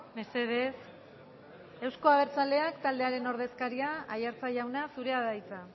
mesedez eusko abertzaleak taldearen ordezkaria aiartza jauna zurea da hitza